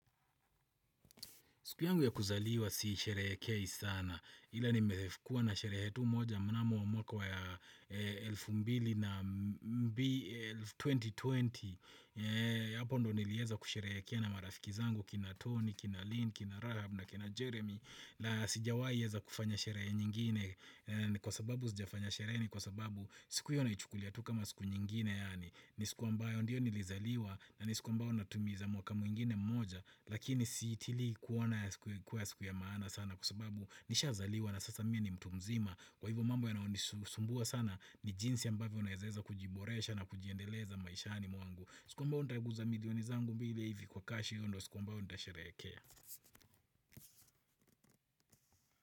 Siku yangu ya kuzaliwa si isherehekei sana, ila nimefikuwa na sherehe tu moja mnamo wa mwako wa ya elfu mbili na 2020. Hapo ndo nilieza kusherehekea na marafiki zangu, kina Tony, kina Lynn, kina Rahab na kina Jeremy, na sijawai eza kufanya sherehe nyingine ni kwa sababu sija fanya sherehe ni kwa sababu siku hiyo naichukulia tu kama siku nyingine. Ni siku ambayo ndiyo nilizaliwa na nisiku ambayo natumiza mwaka mwingine mmoja lakini siitili kuwa na ya siku ya maana sana kwa sababu nisha zaliwa na sasa mii ni mtu mzima kwa hivyo mambo yanayonisumbua sana ni jinsi ambayo naeza eza kujiboresha na kujiendeleza maishani mwangu siku ambayo nitaiguza milioni zangu mbili ya hivi kwa kashi hiyo ndo siku ambayo nita sherehekea.